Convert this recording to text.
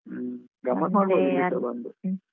ಹ್ಮ .